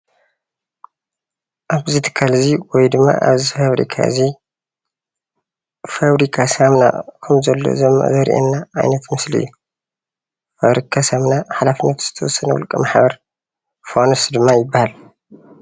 ኣብዚ ትካል እዚ ወይ ድማ ኣብዚ ፋብሪካ እዚ ፋብሪካ ሳሙና ከምዘሎ ዘመላኽት ሓላፍነቱ ዝተወሰነ ውልቀማሕበር ፋኑስ ድማ ይበሃል።